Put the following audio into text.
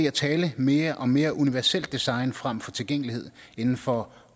at tale mere om mere universelt design frem for tilgængelighed inden for